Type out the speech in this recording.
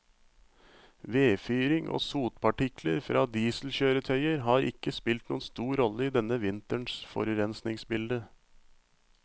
Vedfyring og sotpartikler fra dieselkjøretøyer har ikke spilt noen stor rolle i denne vinterens forurensningsbilde.